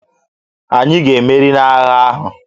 Ànyị ga-emeri n'agha ahụ?